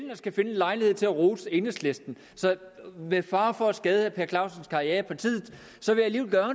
lejlighed til at rose enhedslisten så med fare for at skade herre per clausens karriere i partiet